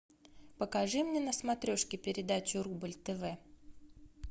покажи мне на смотрешке передачу рубль тв